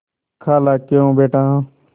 खालाक्यों बेटा